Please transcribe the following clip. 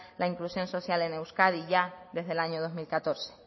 la inclusión social en euskadi ya desde el año dos mil catorce